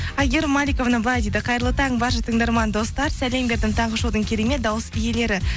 әйгерім маликовна былай дейді қайырлы таң барша тыңдарман достар сәлем бердім таңғы шоудың керемет дауыс иелері